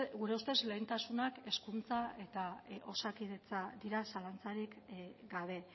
gure ustez lehentasunak hezkuntza eta osakidetza dira zalantzarik gabe